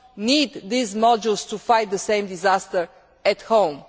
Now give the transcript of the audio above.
need these modules to fight the same disasters at home.